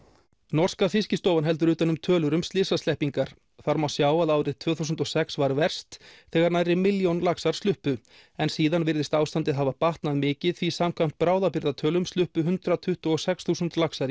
norska Fiskistofan heldur utan um tölur um slysasleppingar þar má sjá að árið tvö þúsund og sex var verst þegar nærri milljón laxar sluppu en síðan virðist ástandið hafa batnað mikið því samkvæmt bráðabirgðatölum sluppu hundrað tuttugu og sex þúsund laxar í